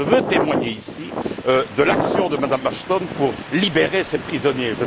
Je veux témoigner, ici, de l'action de Mme Asthon pour libérer ces prisonniers.